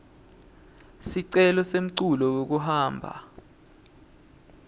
sicelo semculu wekuhamba